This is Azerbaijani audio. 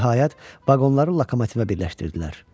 Nəhayət, vaqonları lokomotivə birləşdirdilər.